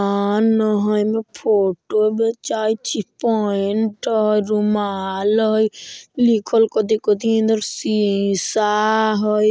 दुकान हई एमए फोटो बेचाई छइ पेंट हई रुमाल हई लिखल कथि कथि हई अंदर सीसा हई |